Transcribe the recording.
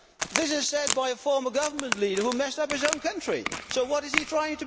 This was said by a former government leader who messed up his own country. So what is he trying to prove?